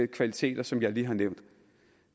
kvaliteter som jeg lige har nævnt